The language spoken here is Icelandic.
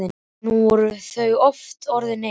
Nú voru þau aftur orðin ein.